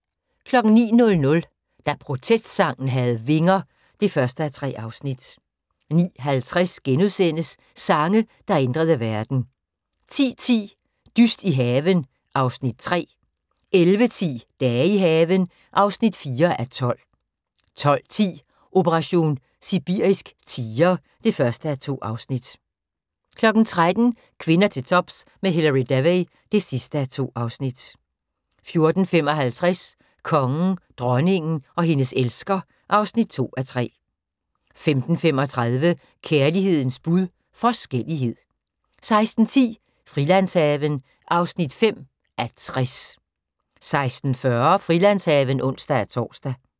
09:00: Da protestsangen havde vinger (1:3) 09:50: Sange, der ændrede verden * 10:10: Dyst i haven (Afs. 3) 11:10: Dage i haven (4:12) 12:10: Operation sibirisk tiger (1:2) 13:00: Kvinder til tops med Hilary Devey (2:2) 14:55: Kongen, dronningen og hendes elsker (2:3) 15:35: Kærlighedens bud – forskellighed 16:10: Frilandshaven (5:60) 16:40: Frilandshaven (ons-tor)